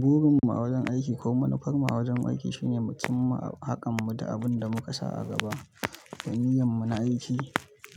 Burin mu a wajen aiki ko manufar mu a wajen aiki shine, mu cimma harƙan mu da abin da muka sa a gaba, ga niyyar mu na aiki.